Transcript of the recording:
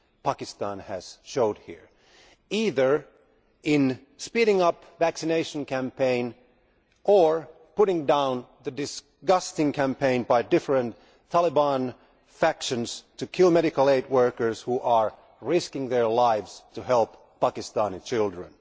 Pakistan has shown here, both in speeding up the vaccination campaign or in putting down the disgusting campaign by different Taliban factions to kill medical aid workers who are risking their lives to help Pakistani children.